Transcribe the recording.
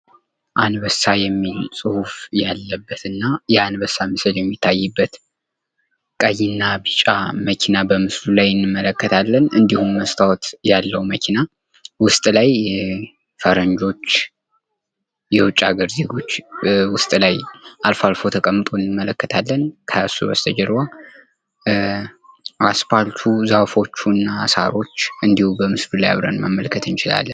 አንበሳ የሚል ፅሁፍ ያለበትና የአንበሳ ምስል የሚታይበት ቀይና ቢጫ መኪና በምስሉ ላይ እንመለከታለን እንዲሁም መስታወት ያለው መኪና ውስጥ ላይ ፈረጆች የውጭ አገር ዜጎች ውስጥ ላይ አልፈው አልፈው ተቀምጠው እንመለከታለን። ከሱ በስተጀርባ አስፓልቱ ዛፎቹና ሳሮች እንዲሁ በምስሉ ላይ አብረን መመልከት እንችላለን።